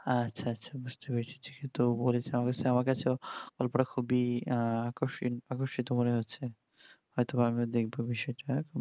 আচ্ছা আচ্ছা বুজতে পেরেছি তো বলছিলাম যে কখনো cinema গল্প তা খুবই আকর্ষণীয় মনে হচ্ছে হয়তো আমিও দেখবো বিষয় তা